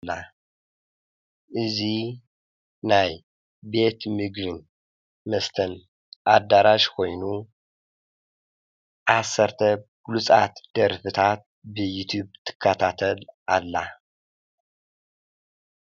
እዚ ናይ ቤት ምግብን መስተን ኣዳርሽ ኮይኑ ዓሰርተ ቡሉፃት ደርፍታት ብዩቲቭ ትከታተል ኣላ፡፡